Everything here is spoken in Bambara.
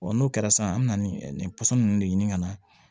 n'o kɛra sisan an bɛ na ni nin pɔsɔn ninnu de ɲini ka na